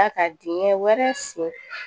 A ka dingɛ wɛrɛ sen